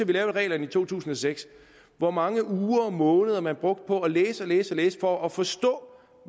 vi lavede reglerne i to tusind og seks hvor mange uger og måneder man brugte på at læse læse og læse for at forstå